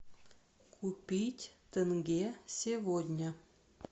купить тенге сегодня